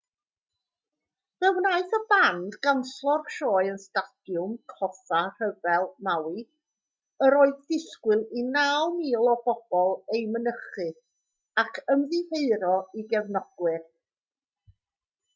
fe wnaeth y band ganslo'r sioe yn stadiwm coffa rhyfel maui yr oedd disgwyl i 9,000 o bobl ei mynychu ac ymddiheuro i gefnogwyr